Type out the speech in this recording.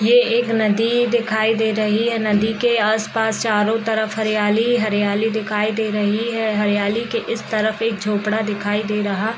ये एक नदी दिखाई दे रही है नदी की आसपास चारो तरफ हरियाली ही हरियाली दिखाई दे रही है हरियाली की इस तरह एक झोपड़ा दिखाई दे रहा है।